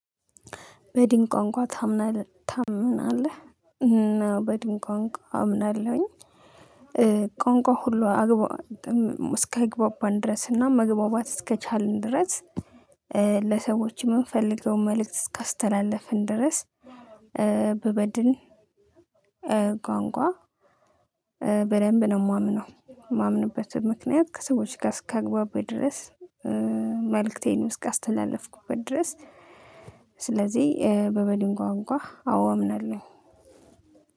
በድን ቋንቋ ታምናለህ? በድን ቋንቋ አምናለሁኝ ቋንቋ ሁሉ እስኪያግባባን ድረስ እና መግባባት እስከቻልን ድረስ ለሰዎች የምንፈልገውን መልእክት እስካስተላለፍን ድረስ ብበድን ቋንቋ በደንብ ነው ማምነው የማምንበት ምክንያት ከሰዎች ጋር እስካግባባኝ ድረስ መልእክቴን እስካስተላለፍኩበት ድረስ ስለዚህ በ በድን ቋንቋ አዎ አምናለው።